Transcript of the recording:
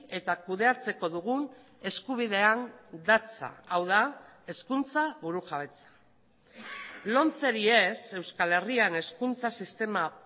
eta kudeatzeko dugun eskubidean datza hau da hezkuntza burujabetza lomceri ez euskal herrian hezkuntza sistema